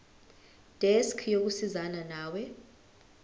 desk yokusizana nawe